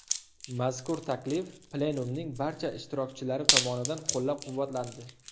Mazkur taklif Plenumning barcha ishtirokchilari tomonidan qo‘llab-quvvatlandi.